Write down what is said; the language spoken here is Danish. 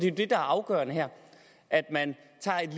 er det afgørende her er at man tager et